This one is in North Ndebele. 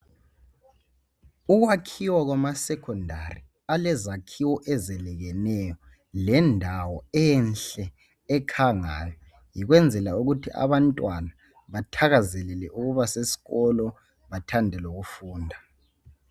Ukwakhiwa kwamasekhondari alezakhiwo ezelekeneyo lendawo enhle ekhangayo yikwenzela ukuthi abantwana bathazelele ukuba sesikolo bathande lokufunda